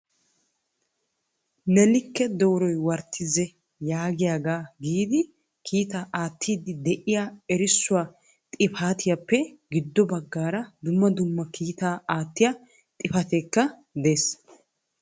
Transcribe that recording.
'Ne likke dooroy waarit ze' yaagiyaagaa giidi kiitaa aattiidi de'iyaa erissuwaa xifatiyaappe giddo baggaara dumma dumma kiita aattiyaa xifatekka de'ees.